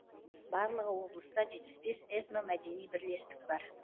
барлығы облыста жетпіс бес этномәдени бірлестік бар